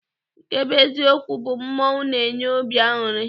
Nke bụ eziokwu bụ mmọnwụ na-enye obi aṅụrị.